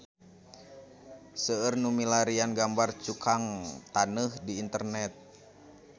Seueur nu milarian gambar Cukang Taneuh di internet